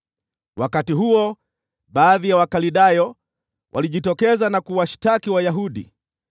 Wakati huo baadhi ya Wakaldayo walijitokeza na kuwashtaki Wayahudi.